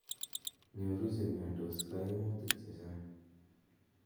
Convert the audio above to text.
Nyoru che imiandos kaimutik chechang